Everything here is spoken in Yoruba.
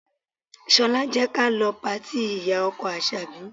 Ṣọlá, jẹ́ ka lọ patí ìyá-ọkọ Àṣàbí.